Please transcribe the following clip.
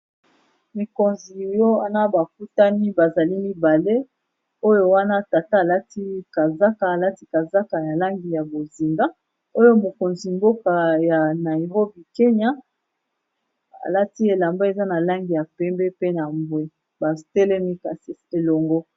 Mikonzi wana bakutani bazali mibale oyo wana tata alati kazaka alati kazaka ya langi ya bozinga oyo mokonzi mboka ya Nairobie Kenya alati elamba eza na langi ya pembe pe na mbwe batelemi kasi elongo.